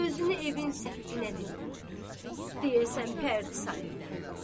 Gözünü evin səqfına dirəyib, deyəsən pərdi sayırdı.